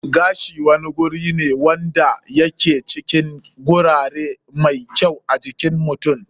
Gashi wani guri wanda ya ke cikin gurare mai kyau a jikin mutum.